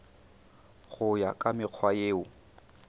go ya ka mekgwa yeo